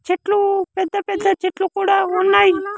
చెట్లు పెద్ద పెద్ద చెట్లు కూడా ఉన్నాయి.